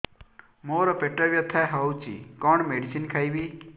ମୋର ପେଟ ବ୍ୟଥା ହଉଚି କଣ ମେଡିସିନ ଖାଇବି